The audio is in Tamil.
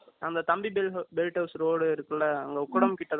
அந்த தம்பிதுரை bill house ரோடு இருக்குல்ல அந்த உக்கடம் கிட்ட